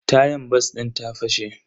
Tayan bas din ta fashe.